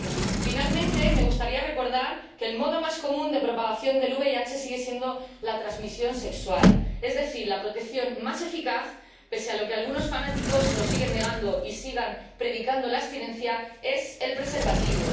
Por último, me gustaría recordar que el modo más común de propagación del VIH sigue siendo la transmisión sexual, es decir, la protección más eficaz —pese a que algunos fanáticos lo sigan negando y sigan predicando la abstinencia— es el preservativo.